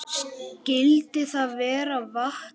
Skyldi það vera vatnið?